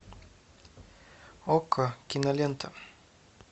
окко кинолента